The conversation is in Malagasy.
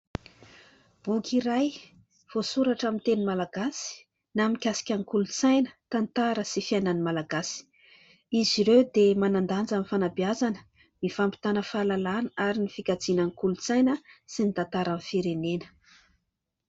Boky iray voasoratra amin'ny teny malagasy na mikasika ny kolontsaina, tantara sy fiainan'ny Malagasy. Izy ireo dia manan-danja amin'ny fanabeazana, ny fampitana fahalalàna ary ny fikajiana ny kolontsaina sy ny tantara ny firenena.